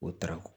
O taara